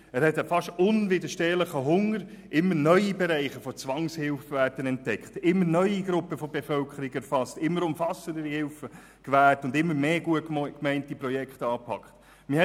Er hat einen fast unwiderstehlichen Hunger, immer neue Bereiche der Zwangshilfe zu entdecken, immer neue Bevölkerungsgruppen zu erfassen, immer umfassendere Hilfen zu gewähren und immer mehr gut gemeinte Projekte anzupacken.